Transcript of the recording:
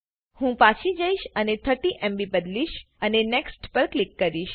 હું પાછી જઈશ અને 30એમબી બદલીશ અને NEXTપર ક્લિક કરીશ